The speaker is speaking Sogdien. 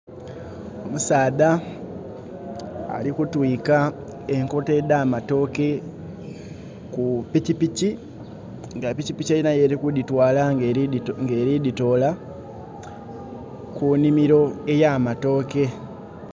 Omusadha alikutwika enkota edhamatoke ku pikyikyi, nga pikyipikyi elina yeli kudhitwala nga elidhitola kunimiro eyamatoke.